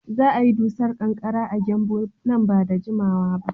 Za a yi dusar ƙanƙara a Gembu nan ba da jimawa ba.